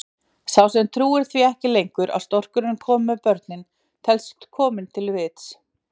Sá sem trúir því ekki lengur að storkurinn komi með börnin telst kominn til vits.